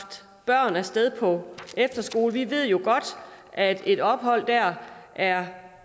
børn af sted på efterskole ved jo godt at et ophold der er